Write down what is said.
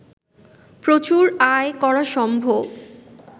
প্রচুর আয় করা সম্ভব